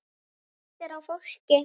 Það léttir á fólki.